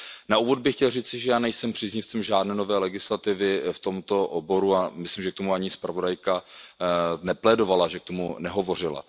Na úvod bych chtěl říci, že já nejsem příznivcem žádné nové legislativy v tomto oboru a myslím, že o to ani zpravodajka nežádala, že k tomu nehovořila.